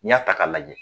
N'i y'a ta k'a lajɛ